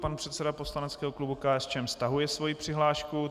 Pan předseda poslaneckého klubu KSČM stahuje svoji přihlášku.